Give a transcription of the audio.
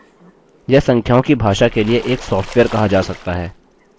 यह संख्याओं की भाषा के लिए एक सॉफ्टवेयर कहा जा सकता है